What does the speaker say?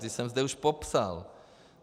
Ty jsem zde už popsal.